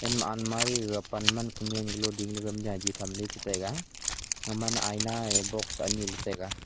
en ma anmari gege pan man konyien galo ding le jahi tham le chetaiga gema ayina box ani le taiga.